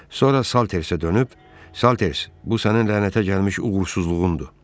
Sonra Saltersə dönüb, Salters, bu sənin lənətə gəlmiş uğursuzluğundur.